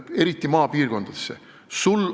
Eriti maapiirkondadesse.